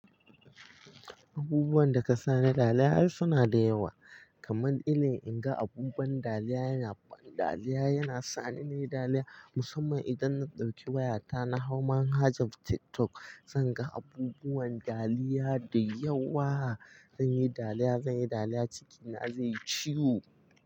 Abubuwan da ka sani dariya ai suna da yawa. Kaman ilin in ga abubuwan dariya yana, bandariya yana sa ni nayi dariya. Musamman idan na ɗauki wayata na hau manhajar TikTok, zan ga abubuwan dariya da yawa. Zan yi dariya, zan yi dariya, cikina zai yi ciwo.